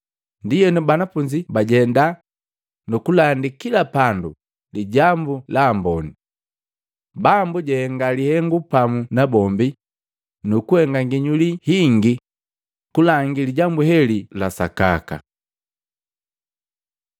Ndienu banafunzi bajenda nu kulandi kila pandu Lijambu la Amboni. Bambu jahenga lihengu pamu nabombi nukuhenga nginyuli hingi kulangi Lijambu heli la sakaka.